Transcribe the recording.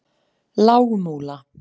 Lágmúla